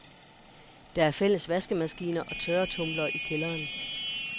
Der er fælles vaskemaskiner og tørretromler i kælderen.